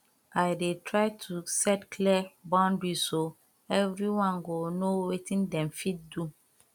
i dey try to set clear boundariesso everyone go know wetin dem fit do